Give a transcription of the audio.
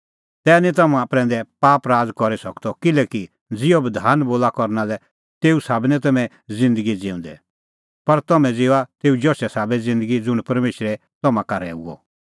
तै निं तम्हां प्रैंदै पाप राज़ करी सकदअ किल्हैकि ज़िहअ बधान बोला करना लै तेऊ साबै निं तम्हैं ज़िन्दगी ज़िऊंदै पर तम्हैं ज़िऊआ तेऊ जशे साबै ज़िन्दगी ज़ुंण परमेशरै तम्हां का रहैऊ